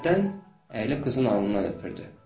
Hərdən əyilib qızın alnından öpürdü.